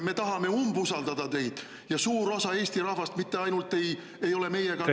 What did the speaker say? Me tahame umbusaldada teid ja suur osa Eesti rahvast mitte ainult ei ole meiega nõus …